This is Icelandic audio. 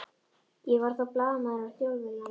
Ég var þá blaðamaður á Þjóðviljanum.